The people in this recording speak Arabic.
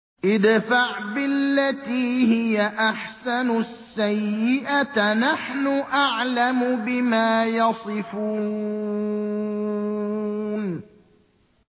ادْفَعْ بِالَّتِي هِيَ أَحْسَنُ السَّيِّئَةَ ۚ نَحْنُ أَعْلَمُ بِمَا يَصِفُونَ